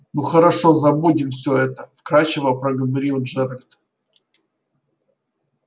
ну хорошо забудем все это вкрадчиво проговорил джералд